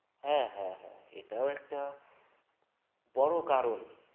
হ্যাঁ হ্যাঁ হ্যাঁ এটাও একটা বড় কারণ